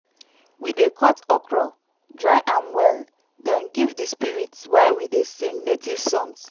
we dey cut okro dry am well then give the spirits while we dey sing native songs.